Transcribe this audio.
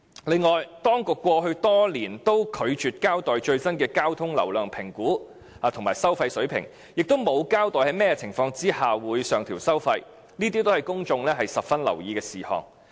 另外，當局過去多年均拒絕交代最新的交通流量評估及收費水平，亦沒有交代在甚麼情況下會上調收費，這些均是公眾十分留意的事項。